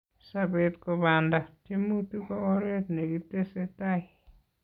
Sopet ko panda, tiemutik ko oret ne kitese tai